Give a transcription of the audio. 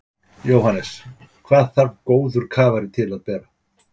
Jóhannes: Hvað þarf góður kafari til að bera?